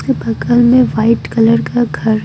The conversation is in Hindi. बगल में वाइट कलर का घर --